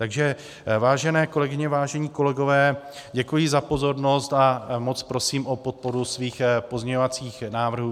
Takže vážené kolegyně, vážení kolegové, děkuji za pozornost a moc prosím o podporu svých pozměňovacích návrhů.